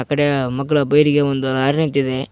ಕಡೆಯ ಮಗ್ಗಲ ಬೈಲಿಗೆ ಒಂದು ಲಾರಿ ನಿಂತಿದೆ.